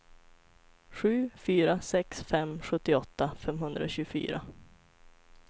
sju fyra sex fem sjuttioåtta femhundratjugofyra